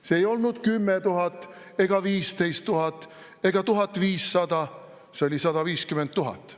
See ei olnud 10 000 ega 15 000 ega 1500, see oli 150 000.